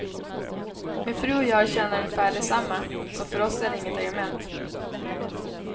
Min fru och jag tjänar ungefär detsamma, så för oss är det inget argument.